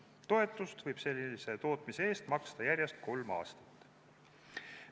Toetust võib sellise tootmise eest maksta järjest kolm aastat.